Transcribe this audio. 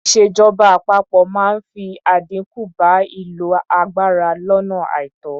Ìṣèjọba àpapọ máa fi àdínkù bá ìlò agbára lónà àìtó.